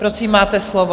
Prosím, máte slovo.